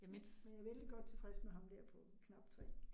Ja, men jeg vældig godt tilfreds med ham dér på knap 3